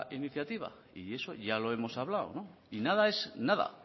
iniciativa y eso ya lo hemos hablado y nada es nada